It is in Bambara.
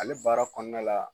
Ale baara kɔnɔna la